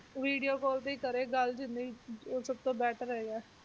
Video call ਤੇ ਕਰੇ ਗੱਲ ਜਿੰਨੀ ਉਹ ਸਭ ਤੋਂ better ਹੈਗਾ ਹੈ